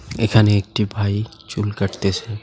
এখানে একটি ভাই চুল কাটতেসে।